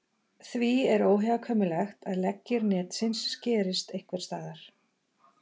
Því er óhjákvæmilegt að leggir netsins skerist einhvers staðar.